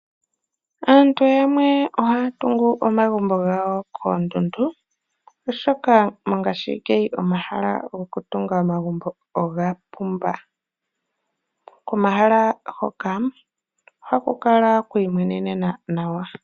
Aantu yamwe ohaya tungu omagumbo gawo koondundu oshoka mongashiingeyi omahala goku tunga omagumbo oga pumba. Komahala hoka ohaku kala kwiimwenenena nawa.